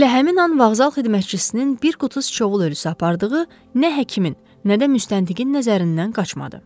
Elə həmin an vağzal xidmətçisinin bir qutu Sıçovul ölüsü apardığı nə həkimin, nə də müstəntiqin nəzərindən qaçmadı.